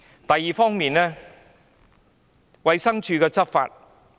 第二方面是衞生署的執法工作。